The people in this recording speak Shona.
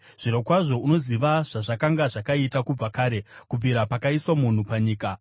“Zvirokwazvo unoziva zvazvakanga zvakaita kubva kare, kubvira pakaiswa munhu panyika,